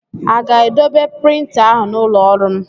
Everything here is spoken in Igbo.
A ga-edobe printa ahụ n'ụlọ ọrụ m?